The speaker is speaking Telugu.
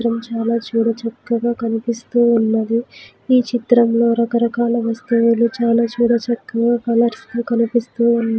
చిత్రం చాలా చూడ చక్కగా కనిపిస్తూ ఉన్నది ఈ చిత్రం లో రాకరకాల వస్తువులు చాలా చూడ చక్కగా కలర్స్ లో కనిపిస్తూ ఉన్న--